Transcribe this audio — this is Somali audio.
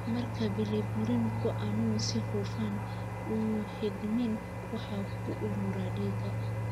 Marka bilirubin-ku aanu si hufan u xidhmin, waxa uu ku urura dhiigga.